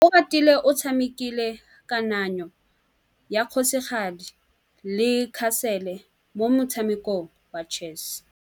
Oratile o tshamekile kananyô ya kgosigadi le khasêlê mo motshamekong wa chess.